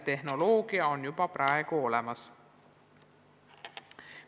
Tehnoloogia on juba praegu olemas.